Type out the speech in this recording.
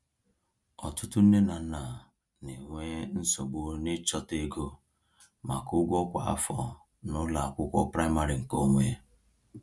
Ọtụtụ nne na nna na-enwe nsogbu n’ịchọta ego maka ụgwọ kwa afọ n’ụlọ akwụkwọ praịmarị nke onwe.